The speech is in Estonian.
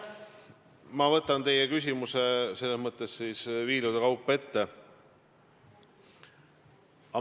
Ma võtan teie küsimuse viilude kaupa ette.